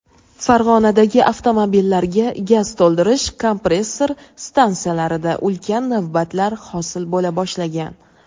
Farg‘onadagi avtomobillarga gaz to‘ldirish kompressor stantsiyalarida ulkan navbatlar hosil bo‘la boshlagan.